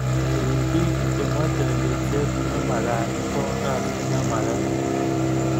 kerip biko che meche ripset ne magaat ko kasiit ne magaat